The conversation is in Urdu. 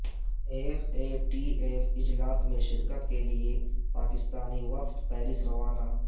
ایف اے ٹی ایف اجلاس میں شرکت کے لیے پاکستانی وفد پیرس روانہ